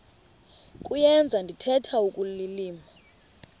kuyenza ndithetha ukulilima